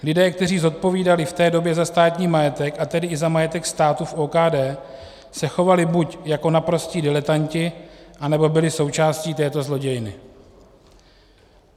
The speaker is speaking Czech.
Lidé, kteří zodpovídali v té době za státní majetek, a tedy i za majetek státu v OKD, se chovali buď jako naprostí diletanti, anebo byli součástí této zlodějny.